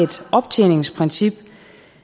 optjeningsprincip